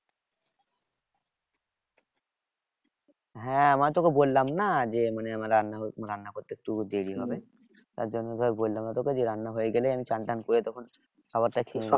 হ্যাঁ মানে তোকে বললাম না যে মানে রান্না মানে রান্না করতে একটু দেরি হবে। তার জন্য ধর বললাম যে তোকে রান্না হয়ে গেলে আমি চান টান করে তখন খাবার টা খেয়ে নেবো।